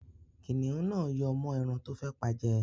Kìnnìún náà yọ́ mọ́ ẹran tó fẹ́ pa jẹ.